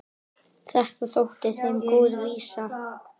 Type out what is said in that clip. Þetta þótti þeim góð vísa.